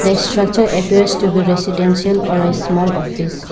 The structure appears to be residential or a small office.